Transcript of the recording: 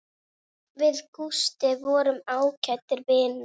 Við Gústi vorum ágætir vinir.